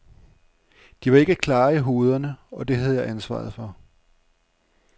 De var ikke klare i hovederne, og det havde jeg ansvaret for.